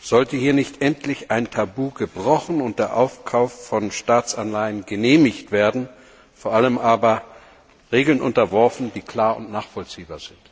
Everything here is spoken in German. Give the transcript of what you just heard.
Sollte hier nicht endlich ein Tabu gebrochen und der Aufkauf von Staatsanleihen genehmigt werden vor allem aber Regeln unterworfen werden, die klar und nachvollziehbar sind?